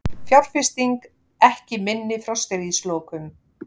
Fjárfesting ekki minni frá stríðslokum